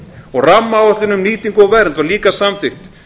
og rammaáætlun um nýtingu og vernd var líka samþykkt